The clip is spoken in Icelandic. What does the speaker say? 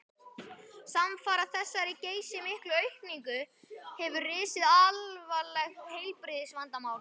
Samfara þessari geysimiklu aukningu hefur risið alvarlegt heilbrigðisvandamál.